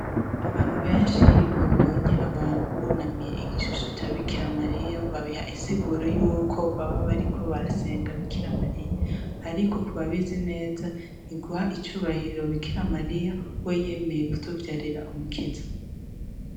Abantu benshi iyo babonye abantu bunamiye igishusho ca bikira mariya babiha insiguru yuko baba bariko barasenga bikira mariya, ariko ku babizi neza ni guha icubahiro bikira mariya we yemeye gutuvyarira umukiza.